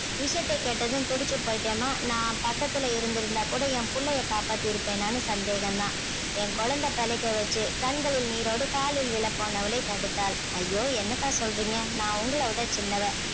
விஷயத்தை கேட்டதும் துடிச்சு போயிட்டேன்மா நான் பக்கத்துல இருந்திருந்தா கூட என் புள்ளையை காப்பாத்தி இருப்பேனான்னு சந்தேகம் தான் என் குழந்தை பிழைக்க வெச்சு கண்களில் நீரோடு காலில் விழ போனவளை தடுத்தாள் ஐயோ என்னக்கா சொல்றீங்க நான் உங்களை விட சின்னவ